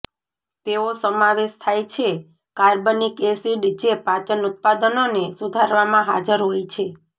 તેઓ સમાવેશ થાય છે કાર્બનિક એસિડ જે પાચન ઉત્પાદનોને સુધારવામાં હાજર હોય છે